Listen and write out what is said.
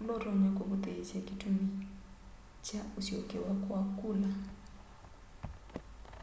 ula utonya kuvuthiisya kitumi kya usyokewa kwa kula